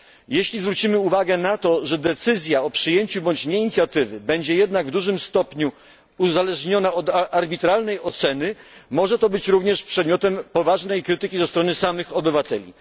Jeśli zwrócimy uwagę na to, że decyzja o przyjęciu bądź nie inicjatywy będzie jednak w dużym stopniu uzależniona od arbitralnej oceny, może to być również przedmiotem poważnej krytyki ze strony samych obywateli.